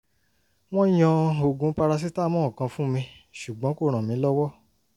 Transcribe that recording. wọ́n yan oògùn paracetamol kan fún mi ṣùgbọ́n kò ràn mí lọ́wọ́